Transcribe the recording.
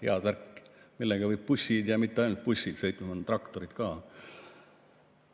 Head värki, millega võib bussid, ja mitte ainult bussid, sõitma panna, traktorid ka.